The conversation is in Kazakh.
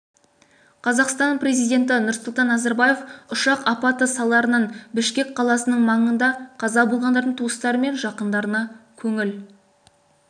қазақстан президенті нұрсұлтан назарбаев ұшақ апаты салдарынан бішкек қаласының маңында қаза болғандардың туыстары мен жақындарына көңіл